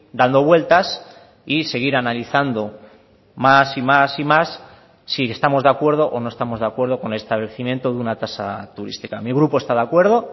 dando vueltas y seguir analizando más y más y más si estamos de acuerdo o no estamos de acuerdo con el establecimiento de una tasa turística mi grupo está de acuerdo